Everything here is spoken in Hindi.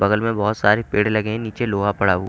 बगल में बहुत सारे पेड़ लगे हैं नीचे लोहा पड़ा हु--